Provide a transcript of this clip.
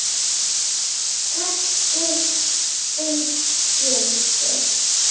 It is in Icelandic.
Texti fylgdi.